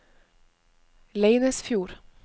Leinesfjord